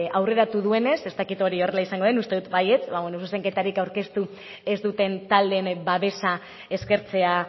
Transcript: aurreratu duenez ez dakit hori horrela izango den uste dut baietz zuzenketarik aurkeztu ez duten taldeen babesa eskertzea